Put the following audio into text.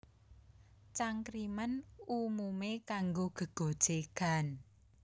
Cangkriman umumé kanggo gégojégan